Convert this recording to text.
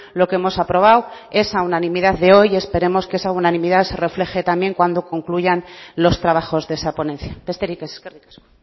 lo que hemos aprobado esa unanimidad de hoy y esperemos que esa unanimidad se refleje también cuando concluyan los trabajos de esa ponencia besterik ez eskerrik asko